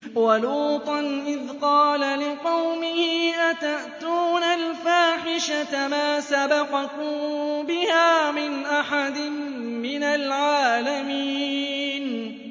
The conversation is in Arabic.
وَلُوطًا إِذْ قَالَ لِقَوْمِهِ أَتَأْتُونَ الْفَاحِشَةَ مَا سَبَقَكُم بِهَا مِنْ أَحَدٍ مِّنَ الْعَالَمِينَ